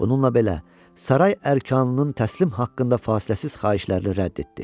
Bununla belə, saray ərkanının təslim haqqında fasiləsiz xahişlərini rədd etdi.